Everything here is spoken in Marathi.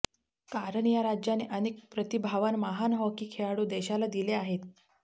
कारण या राज्याने अनेक प्रतिभावान महान हॉकी खेळाडू देशाला दिले आहेत